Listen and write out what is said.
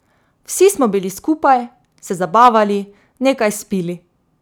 Vsi smo bili skupaj, se zabavali, nekaj spili.